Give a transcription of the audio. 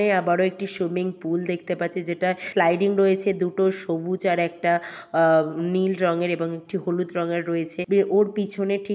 এই আবার ও একটি সুইমিংপুল দেখতে পাচ্ছি | যেটা স্লাইডিং রয়েছে দুটো সবুজ আর একটা আ নীল রঙের | এবং একটি হলুদ রঙের রয়েছে ওর পিছনে ঠিক --